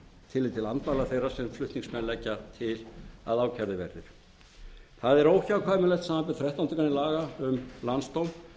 tillit til andmæla þeirra sem flutningsmenn leggja til að ákærðir verði það er óhjákvæmilegt samanber þrettándu grein laga um landsdóm